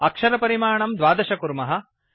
अक्षरपरिमाणं द्वादश कुर्मः